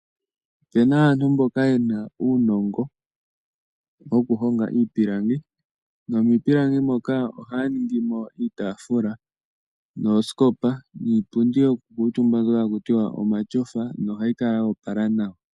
Opu na aantu mboka ye na uunongo wokuhonga iipilangi. Nomiipilangi moka ohaya ningi mo iitaafula noosikopa, niipundi yokukuutumba mbyoka haku tiwa omatyofa nohayi kala ya opala nawa.